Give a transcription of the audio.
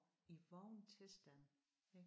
I vågen tilstand ik